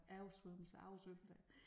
Oversvømmelser oversvømmelser